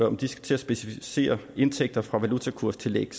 om de skal til at specificere indtægter fra valutakurstillæg